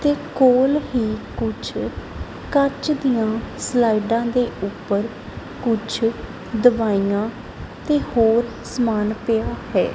ਤੇ ਕੋਲ ਹੀ ਕੁਛ ਕੱਚ ਦਿਆਂ ਸਲਾਈਡਾਂ ਦੇ ਊਪਰ ਕੁਛ ਦਵਾਇਆਂ ਤੇ ਹੋਰ ਸਮਾਨ ਪਿਆ ਹੈ।